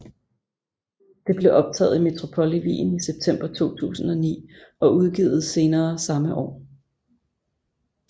Det blev optaget i Metropole i Wien i september 2009 og udgivet senere samme år